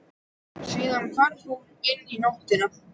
Síðan hvarf hún inn í nóttina.